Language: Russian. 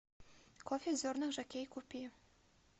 кофе в зернах жокей купи